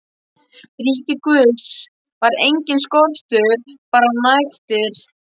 ríki Guðs var enginn skortur, bara nægtir.